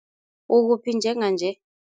Ukuphi njenganje?